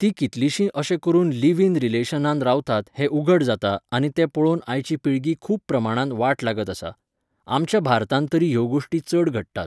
तीं कितलींशीं अशें करून लीव इन रिलेशनांत रावतात हें उघड जाता आनी तें पळोवन आयची पिळगी खूब प्रमाणांत वाट लागत आसा. आमच्या भारतांत तरी ह्यो गोश्टी चड घडटात.